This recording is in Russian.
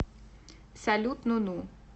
салют ну ну